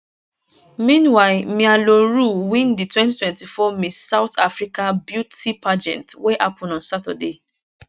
meanwhile mia le roux win di 2024 miss south africa beauty pageant wey happun on saturday